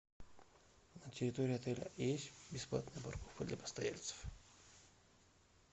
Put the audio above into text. на территории отеля есть бесплатная парковка для постояльцев